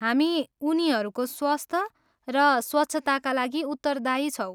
हामी उनीहरूको स्वस्थ र स्वच्छताका लागि उत्तरदायी छौँ।